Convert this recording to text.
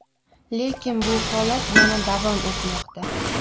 Lekin bu holat yana davom etmoqda.